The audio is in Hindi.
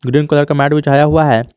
ग्रीन कलर का मैट बिछाया हुआ है।